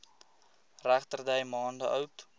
regterdy maande oud